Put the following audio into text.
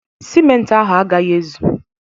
Simenti ahụ agaghị ezu